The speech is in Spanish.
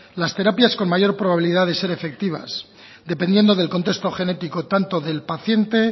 las terapias con mayor probabilidad de ser efectivas dependiendo del contexto genético tanto del paciente